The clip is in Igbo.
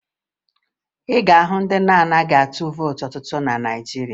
Ị ga-ahụ ndị na-anaghị atụ vootu na Naịjirịa